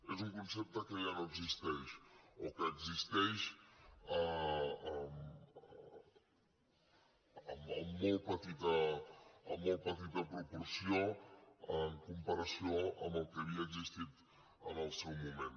és un concepte que ja no existeix o que existeix en molt petita proporció en comparació amb el que havia existit en el seu moment